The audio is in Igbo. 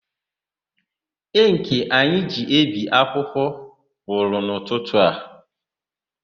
Ịnkị anyị ji ebi akwụkwọ gwụrụ n'ụtụtụ a.